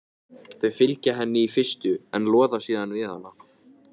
Þau fylgja henni í fyrstu en loða síðan við hana.